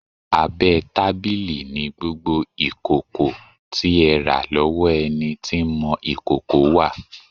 Abẹ́ tábìlì ni gbogbo ìkòkò tí ẹ rà lọ́wọ́ ẹni tí ń mọ ìkòkò wà.